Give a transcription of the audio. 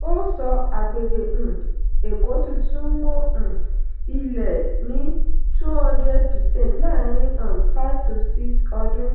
ó sọ: agbègbè um èkó tuntun mọ um ilẹ̀ ní two hundred percent láàárin um five to six ọdún.